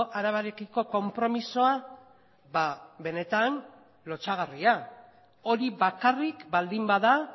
arabarekiko konpromisoa benetan lotsagarria hori bakarrik baldin bada